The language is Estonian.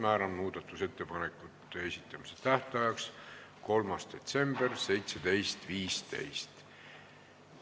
Määran muudatusettepanekute esitamise tähtajaks 3. detsembri 17.15.